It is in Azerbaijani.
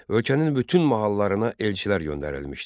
Ölkənin bütün mahallarana elçilər göndərilmişdi.